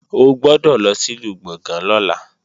O gbọ́dọ̀ lọ sìlú Gbọ̀ngán lọ́la